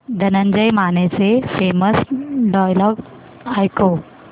धनंजय मानेचे famous dialogue ऐकव